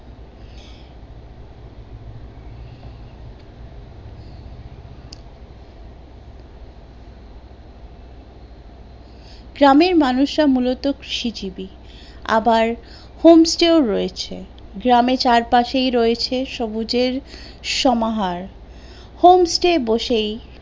গ্রামের মানুষরা মূলত কৃষিজীবী, আবার home ও রয়েছে গ্রামে চারপাশেই রয়েছে সবুজের সমাহার